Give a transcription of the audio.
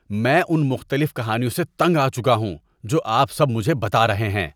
میں ان مختلف کہانیوں سے تنگ آ چکا ہوں جو آپ سب مجھے بتا رہے ہیں۔